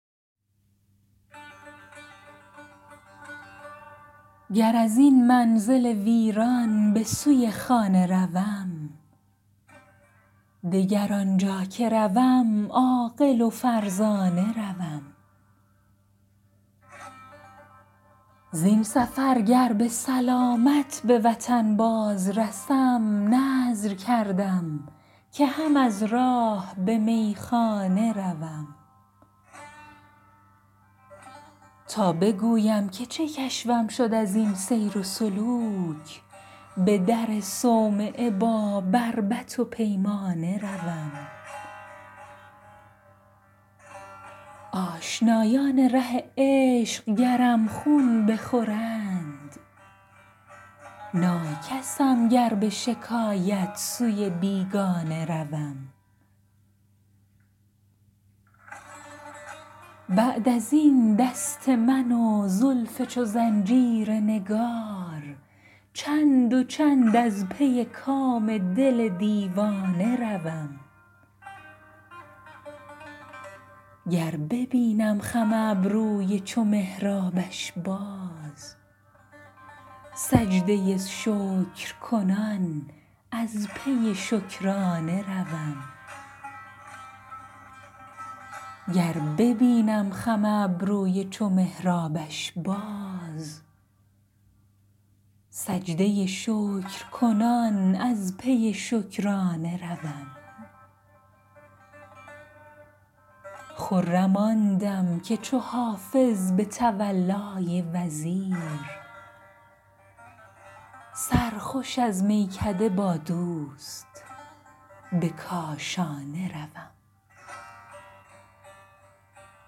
گر از این منزل ویران به سوی خانه روم دگر آنجا که روم عاقل و فرزانه روم زین سفر گر به سلامت به وطن باز رسم نذر کردم که هم از راه به میخانه روم تا بگویم که چه کشفم شد از این سیر و سلوک به در صومعه با بربط و پیمانه روم آشنایان ره عشق گرم خون بخورند ناکسم گر به شکایت سوی بیگانه روم بعد از این دست من و زلف چو زنجیر نگار چند و چند از پی کام دل دیوانه روم گر ببینم خم ابروی چو محرابش باز سجده شکر کنم و از پی شکرانه روم خرم آن دم که چو حافظ به تولای وزیر سرخوش از میکده با دوست به کاشانه روم